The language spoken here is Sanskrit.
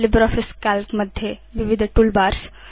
लिब्रियोफिस काल्क मध्ये विविध toolbars